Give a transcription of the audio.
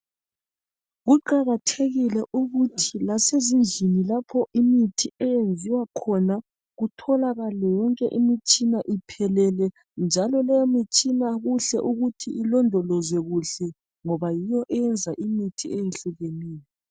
Kuqakathekile ukuthi lasezindlini lapho imithi eyenziwa khona kutholakale yonke imitshina iphelele njalo leyo mitshina kuhle ukuthi ilondolozwe kuhle ngoba yiyo eyenza imithi eyehlukeneyo